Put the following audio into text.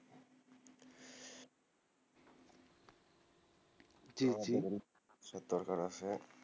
জি জি, সব দরকার আছে,